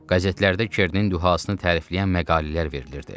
Qəzetlərdə Kernin dühasını tərifləyən məqalələr verilirdi.